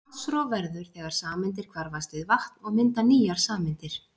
vatnsrof verður þegar sameindir hvarfast við vatn og mynda nýjar sameindir